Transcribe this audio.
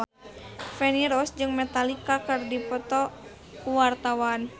Feni Rose jeung Metallica keur dipoto ku wartawan